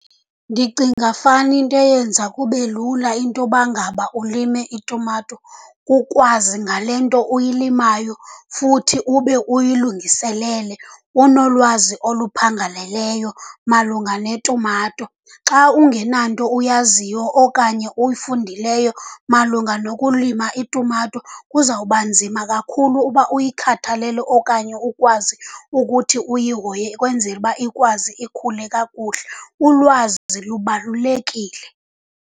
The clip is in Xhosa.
Ndicinga fana into eyenza kube lula into yoba ngaba ulime itumato kukwazi ngale nto uyilimayo futhi ube uyilungiselele, unolwazi oluphangaleleyo malunga netumato. Xa ungenanto uyaziyo okanye uyifundileyo malunga nokulima itumato kuzawuba nzima kakhulu uba uyikhathalele okanye ukwazi ukuthi uyihoye ukwenzela uba ikwazi ikhule kakuhle. Ulwazi lubalulekile.